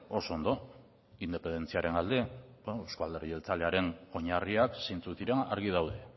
oso ondo independentziaren alde euzko alderdi jeltzalearen oinarriak zeintzuk diren argi daude